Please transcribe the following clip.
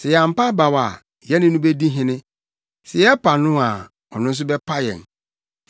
Sɛ yɛampa abaw a yɛne no bedi hene. Sɛ yɛpa no a, ɔno nso bɛpa yɛn.